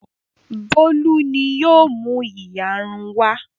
Bólú ni yóò mú ìyarun wá.